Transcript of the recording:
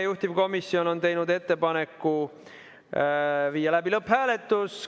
Juhtivkomisjon on teinud ettepaneku viia läbi lõpphääletus.